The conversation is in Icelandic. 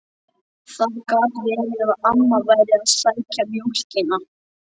Það gat verið að amma væri að sækja mjólkina.